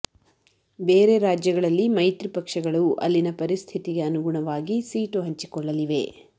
ಬೇರೆ ರಾಜ್ಯಗಳಲ್ಲಿ ಮೈತ್ರಿ ಪಕ್ಷಗಳು ಅಲ್ಲಿನ ಪರಿಸ್ಥಿತಿಗೆ ಅನುಗುಣವಾಗಿ ಸೀಟು ಹಂಚಿಕೊಳ್ಳಲಿವೆ